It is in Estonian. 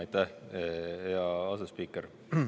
Aitäh, hea asespiiker!